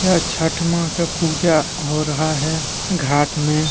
यह छठ मां का पूजा हो रहा है घाट में।